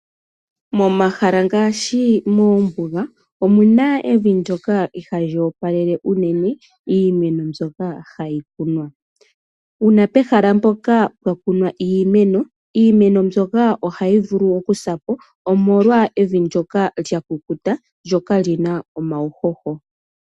Momahala ngaashi moombuga omuna evi ndoka ihali opalele unene iimeno mbyoka hayi kunwa. Uuna pehala mpoka pwa kunwa iimeno, iimeno mbyoka ohayi vulu okusapo omolwa evi ndoka lya kukuta lyo kalina uuhoho.